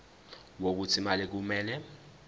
wokuthi imali kumele